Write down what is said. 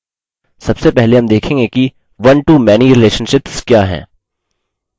यहाँ कुछ प्रकार के relationships हैं और हम उन्हें अभी देखेंगे